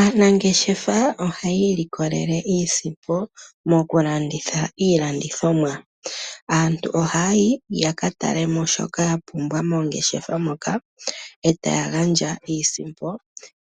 Aanangeshefa ohaya ilikolele iisimpo mo ku landitha iilandithomwa. Aantu oha yayi yaka tale mo shoka yapumbwa mongeshefa moka etaya gandja iisimpo